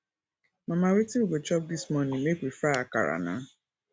mama wetin we go chop dis morning make we fry akara na